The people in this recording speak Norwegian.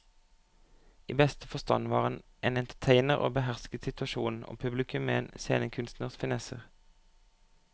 I beste forstand var han entertainer og behersket situasjonen og publikum med en scenekunstners finesser.